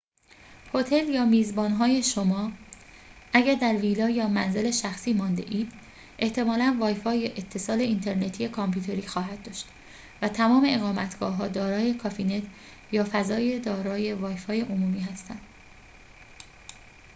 هتل یا میزبان‌های شما اگر در ویلا یا منزل شخصی مانده‌اید احتمالاً‌ وای‌فای یا اتصال اینترنتی کامپیوتری خواهد داشت و تمام اقامتگاه‌ها دارای کافی‌نت یا فضای دارای وای‌فای عمومی هستند